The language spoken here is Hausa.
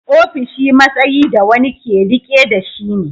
Ofishi matsayi da wani ke riƙe da shi ne.